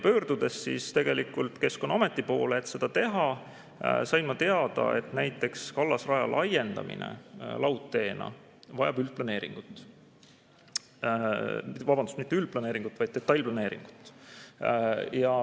Pöördudes Keskkonnaameti poole, et seda teha, sain ma teada, et kallasraja laiendamine laudteena vajab üldplaneeringut – vabandust, mitte üldplaneeringut, vaid detailplaneeringut.